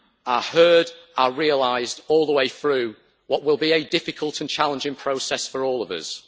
are heard and realised all the way through what will be a difficult and challenging process for all of us.